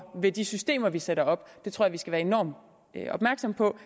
med de systemer vi sætter op det tror jeg vi skal være enormt opmærksomme på